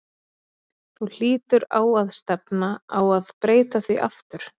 Þú hlýtur á að stefna á að breyta því aftur?